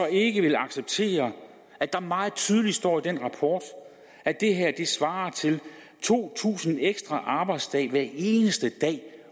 ikke vil acceptere at der meget tydeligt står i den rapport at det her svarer til to tusind ekstra arbejdsdage hver eneste dag